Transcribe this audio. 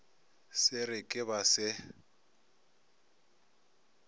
se re ke ba se